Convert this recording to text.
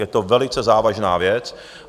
Je to velice závažná věc.